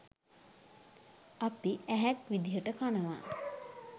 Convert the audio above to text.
අපි "ඇහැක්" විදියට කනවා